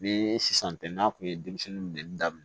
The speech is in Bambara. Ni sisan tɛ n'a tun ye denmisɛnnin minɛ daminɛ